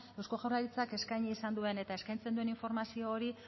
eusko jaurlaritzak eskaini izan duen eta eskaintzen duen informazio hori